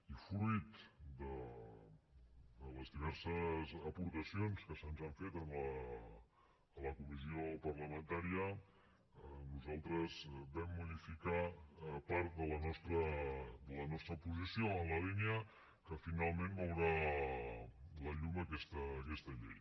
i fruit de les diverses aportacions que se’ns han fet a la comissió parlamentària nosaltres vam modificar part de la nostra posició en la línia del que finalment veurà la llum aquesta llei